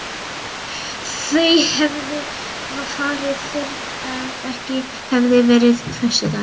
Þau hefðu farið fyrr ef ekki hefði verið föstudagskvöld.